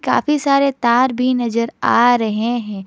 काफी सारे तार भी नजर आ रहे हैं।